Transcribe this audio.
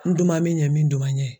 N duman min ɲɛ min duman n ɲɛ.